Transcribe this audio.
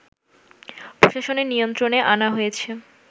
প্রশাসনের নিয়ন্ত্রণে আনা হয়েছে